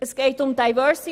Es geht um Diversity.